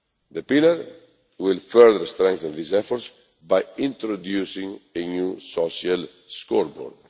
The pillar will further strengthen these efforts by introducing a new social scoreboard.